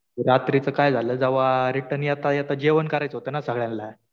रात्री तर काय झालं. जेव्हा रिटर्न येता येता जेवण करायचं होतं ना सगळ्यांना.